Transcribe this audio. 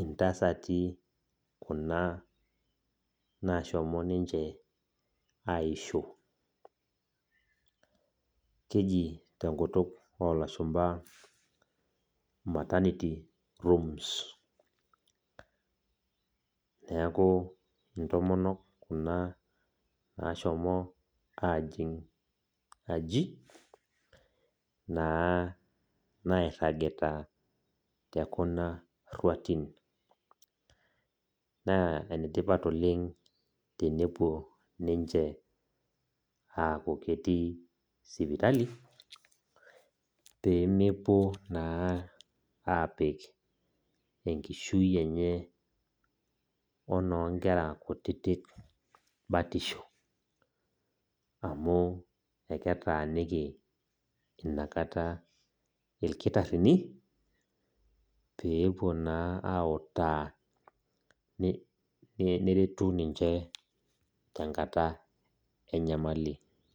intasati kuna nashomo ninche aisho. Keji tenkutuk olashumpa maternity rooms. Neeku intomonok kuna nashomo ajing' aji, naa nairragita tekuna rruatin. Naa enetipat oleng tenepuo ninche aku ketii sipitali, pemepuo naa apik enkishui enye onoonkera kutitik batisho. Amu eketaaniki inakata irkitaarrini, peepuo naa autaa neretu ninche tenkata enyamali.